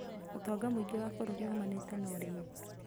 Ũtonga mũingĩ wa bũrũri umanĩte na ũrĩmi